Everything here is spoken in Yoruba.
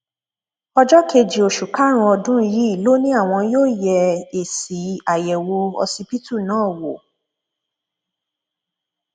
ọjọ kejì oṣù karùnún ọdún yìí ló ní àwọn yóò yẹ èsì àyẹwò ọsibítù náà wò